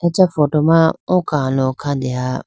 acha photo ma oo kalo khadeha.